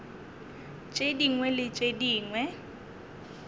tše dingwe le tše dingwe